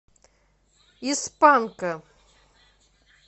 из панка